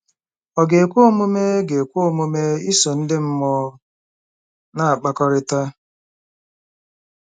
Ọ̀ ga-ekwe omume ga-ekwe omume iso ndị mmụọ na-akpakọrịta?